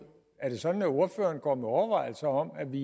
er det sådan at ordføreren går med overvejelser om at vi